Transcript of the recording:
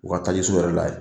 U ka tajiso yɛrɛ la yen,